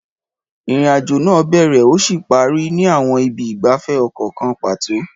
Ìrìn-àjò náà bẹ̀rẹ̀ ó sì parí ní àwọn ibi ìgbafẹ́ ọkọ̀ kan pàtó.